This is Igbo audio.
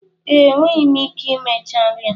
Ee, enweghị m ike imecha nri a.